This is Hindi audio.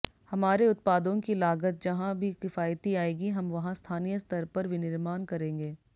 हमारे उत्पादों की लागत जहां भी किफायती आएगी हम वहां स्थानीय स्तर पर विनिर्माण करेंगे